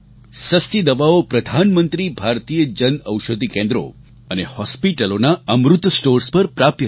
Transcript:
સસ્તી દવાઓ પ્રધાનમંત્રી ભારતીય જન ઔષધિ કેન્દ્રો અને હૉસ્પિટલોના અમૃત સ્ટોર્સ પર પ્રાપ્ય છે